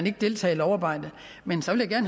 ikke deltager i lovarbejdet men så vil jeg